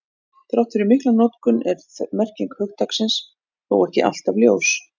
Þrátt fyrir mikla notkun er merking hugtaksins þó ekki alltaf ljós.